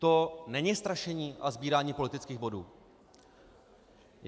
To není strašení a sbírání politických bodů?